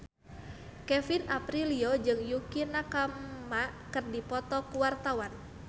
Kevin Aprilio jeung Yukie Nakama keur dipoto ku wartawan